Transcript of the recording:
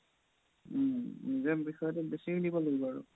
উম বিষয়তো বেচি দিব লাগিব আৰু